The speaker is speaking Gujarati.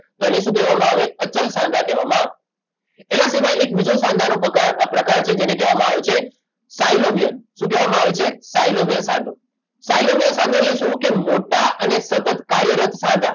તો એને શું કહેવામાં આવે અચલ સાંધા કહેવામાં આવે એના સિવાય એક બીજો સાંધાનો પકાર પ્રકાર છે જેને કહેવામાં આવે છે સાયલોવિયન શું કહેવામાં આવે છે સાયલોવિયન સાંધો સાયલોવિયન સાંધો એટલે શું કે મોટા અને સતત કાર્યરત સાંધા